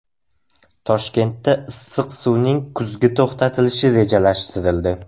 Toshkentda issiq suvning kuzgi to‘xtatilishi rejalashtirildi.